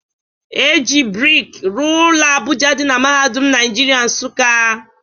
E ji brik rụọ ụlọ Abuja dị na Mahadum Naijiria Nsukka